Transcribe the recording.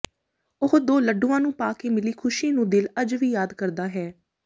ਉਹ ਦੋ ਲੱਡੂਆਂ ਨੂੰ ਪਾ ਕੇ ਮਿਲੀ ਖੁਸ਼ੀ ਨੂੰ ਦਿਲ ਅੱਜ ਵੀ ਯਾਦ ਕਰਦਾ ਹੈ